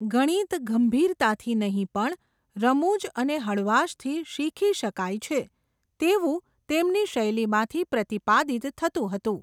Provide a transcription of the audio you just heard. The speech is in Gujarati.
ગણિત ગંભીરતાથી નહીં પણ, રમૂજ અને હળવાશથી શીખી શકાય છે, તેવું તેમની શૈલીમાંથી પ્રતિપાદિત થતું હતું.